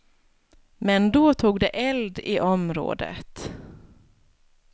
Men då tog det eld i området.